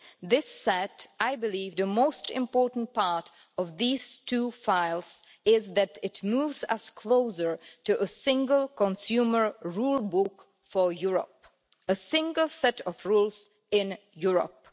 This said, I believe the most important part of these two files is that it moves us closer to a single consumer rule book for Europe. A single set of rules in Europe.